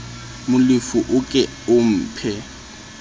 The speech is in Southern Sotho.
molefi o ke o mphe